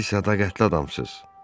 Siz sədaqətli adamsınız.